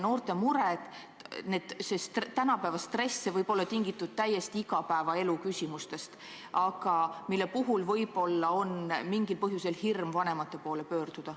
Noorte mured ja see tänapäeva stress võivad olla tingitud täiesti igapäevaelulistest küsimustest, mille puhul võib-olla tuntakse mingil põhjusel hirmu vanemate poole pöörduda.